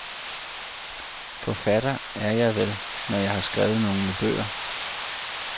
Forfatter er jeg vel, når jeg har skrevet nogle bøger.